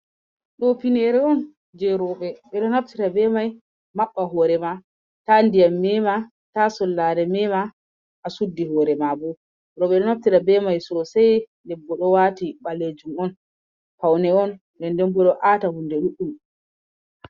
ɗo finere on je roɓe. Beɗo naftira be mai mabba horema. Ta ndiyam mema, ta sullare mema a suɗɗi horema. Robe ɗo aftra be mai sosai ɗebbo do wati balejum'on faune'on, nɗen Ɗen bo ɗo ata hunɗe ɗuɗum.